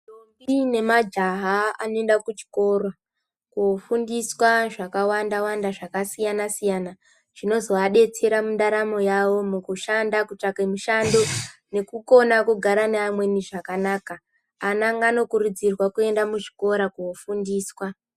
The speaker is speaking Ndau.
Ndombi nemajaha anoenda kuchikoro kofundiswa zvakawanda-wanda zvakasiyana-siyana zvinozoadetsera mundaramo yawo, mukushanda kutsvake mushando nekukona kugara neamweni zvakanaka. Ana nganokurudzirwa kuenda muzvikora kofundiswa.